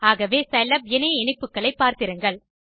ஆகவே சிலாப் இணைய இணைப்புகளை பார்த்திருங்கள்